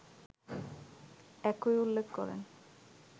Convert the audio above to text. একই উল্লেখ করেন